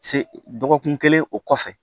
Se dɔgɔkun kelen o kɔfɛ